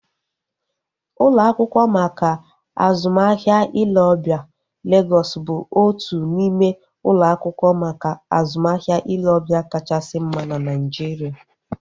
Ụlọ akwụkwọ maka azụmahịa ile ọbịa Legọs bụ otu n'ime ụlọ akwụkwọ maka azụmahịa ile ọbịa kachasị mma na Naijiria